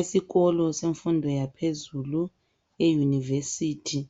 Esikolo semfundo yaphezulu i university